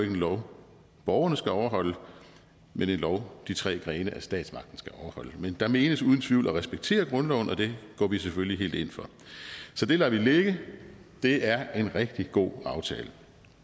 en lov borgerne skal overholde men en lov de tre grene af statsmagten skal overholde men der menes uden tvivl at respektere grundloven og det går vi selvfølgelig helt ind for så det lader vi ligge det er en rigtig god aftale